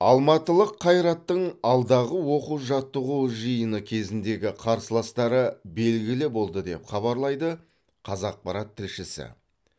алматылық қайраттың алдағы оқу жаттығу жиыны кезіндегі қарсыластары белгілі болды деп хабарлайды қазақпарат тілшісі